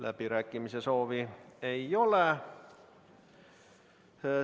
Läbirääkimiste soovi ei ole.